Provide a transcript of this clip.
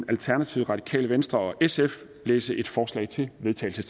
alternativet radikale venstre og sf læse et forslag til vedtagelse